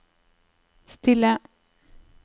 stille